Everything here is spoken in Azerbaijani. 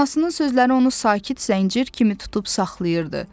Anasının sözləri onu sakit zəncir kimi tutub saxlayırdı.